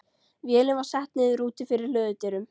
Vélin var sett niður úti fyrir hlöðudyrum.